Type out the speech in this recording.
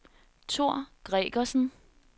Thor Gregersen